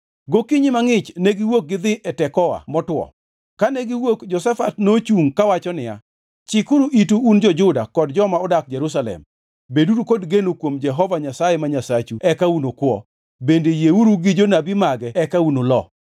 Gokinyi mangʼich negiwuok gidhi e piny Tekoa motwo. Kane giwuok Jehoshafat nochungʼ kawacho niya, “Chikuru itu un jo-Juda kod joma odak Jerusalem! Beduru kod geno kuom Jehova Nyasaye ma Nyasachu eka unukuwo, bende yieuru gi jonabi mage eka unulo.”